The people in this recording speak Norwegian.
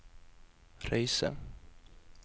Røyse